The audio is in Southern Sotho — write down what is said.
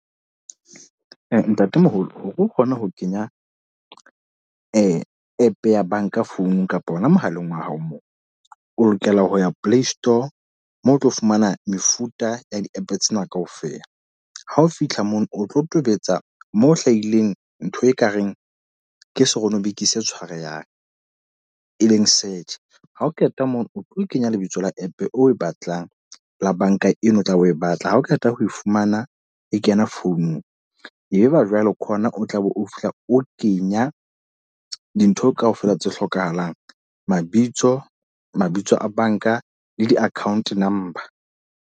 Ntatemoholo, hore o kgone ho kenya app ya banka founung kapa hona mohaleng wa hao moo. O lokela ho ya play store moo o tlo fumana mefuta ya di-app tsena kaofela. Ha o fitlha moo, o tlo tobetsa moo ho hlahileng ntho ekareng ke seronobiki se tshwarehang, e leng search. Ha o qeta mono, o tlo kenya lebitso la app o e batlang, la banka ena o tla o batla. Ha o qeta ho e fumana e kena founung. E be ba jwale ke hona o tla be o fihla o kenya dintho kaofela tse hlokahalang. Mabitso, mabitso a banka le di-account number.